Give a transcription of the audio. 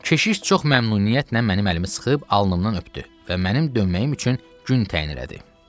Keşiş çox məmnuniyyətlə mənim əlimi sıxıb alnımdan öpdü və mənim dönməyim üçün gün təyin elədi.